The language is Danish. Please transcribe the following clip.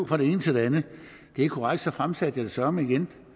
fra det ene til det andet det er korrekt at fremsatte jeg søreme igen